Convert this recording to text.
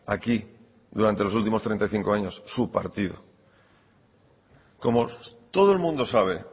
aquí durante los últimos treinta y cinco años su partido como todo el mundo sabe